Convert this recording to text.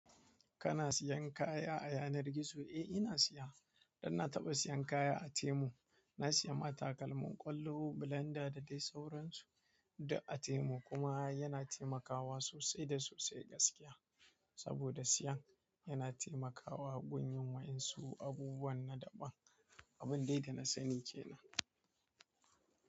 Kana siyan kaya a yanar gizo? Eh ina siya, dan nataba siyan kaya a temu na siya ma takalmin ƙwallo, blender da dai sauransu. Da a Temu kuma yana taimakawa sosai da sosai gaskiya. Saboda siyan yana temakawa gun yin wa'in su abubuwan naɗaɓan. Abin dai da na sani kenan.